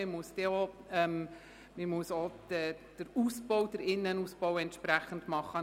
Man muss dann auch den Innenausbau entsprechend sanieren.